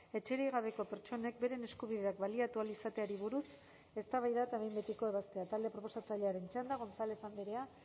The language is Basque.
etxerik gabeko pertsonek beren eskubideak baliatu ahal izateari buruz eztabaida eta behin betiko ebazpena talde proposatzailearen txanda gonzález andrea